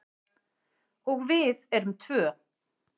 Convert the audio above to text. Og við erum tvö.